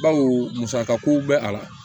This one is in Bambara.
Bawo musakako bɛ a la